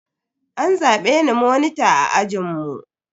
An zabe ni monita a ajinmu.